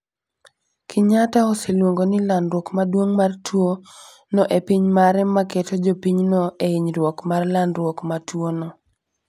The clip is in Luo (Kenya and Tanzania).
Kenyatta oseluongo ni landruok maduong mar tuo no e piny mare ma keto jopinyno e hinyruok mar landruok ma tuo no